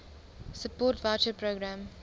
support voucher programme